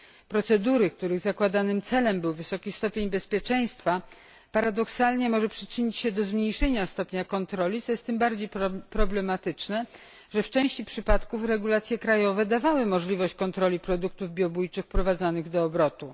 Procedury, których zakładanym celem był wysoki stopień bezpieczeństwa, paradoksalnie mogą przyczynić się do zmniejszenia stopnia kontroli, co jest tym bardziej problematyczne, że w części przypadków regulacje krajowe dawały możliwość kontroli produktów biobójczych wprowadzanych do obrotu.